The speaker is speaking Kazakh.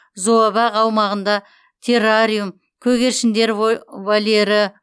зообақ аумағында террариум көгершіндер вольері